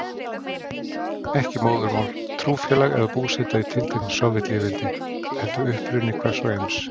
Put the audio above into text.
Ekki móðurmál, trúfélag eða búseta í tilteknu Sovétlýðveldi, heldur uppruni hvers og eins.